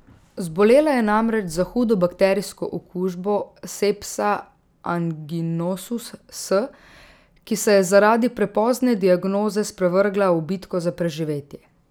Zbolela je namreč za hudo bakterijsko okužbo Sepsa anginosus S, ki se je zaradi prepozne diagnoze sprevrgla v bitko za preživetje.